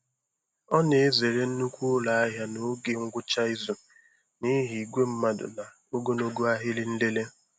Ọ na-ezere nnukwu ụlọ ahịa n'oge ngwụcha izu n'ihi igwe mmadụ na ogologo ahịrị nlele.